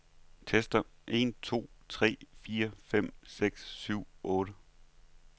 Tester en to tre fire fem seks syv otte.